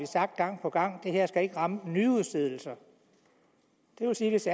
sagt gang på gang at det her ikke skal ramme nyudstedelser det vil sige at hvis